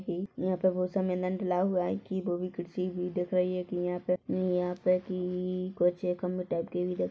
ही यहाँ पर बहोत सा मैदान डला हुआ है भी दिख रही है की यहाँ पे नी यहाँ पे की ई कुछ एक खम्भे टाइप के भी दिख --